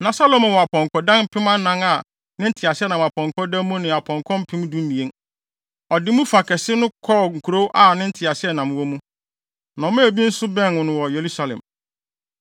Na Salomo wɔ apɔnkɔdan mpem anan a ne nteaseɛnam apɔnkɔ da mu ne apɔnkɔ mpem dumien. Ɔde mu fa kɛse no kɔɔ nkurow a ne nteaseɛnam wɔ mu, na ɔmaa bi nso bɛn no wɔ Yerusalem.